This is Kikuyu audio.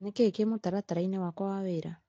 Nĩkĩĩ kĩ mũtaratara-ini wakwa wa wĩra ?